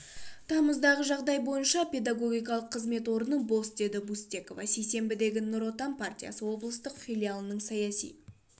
тамыздағы жағдай бойынша педагогикалық қызмет орны бос деді бустекова сейсенбідегі нұр отан партиясы облыстық филиалының саяси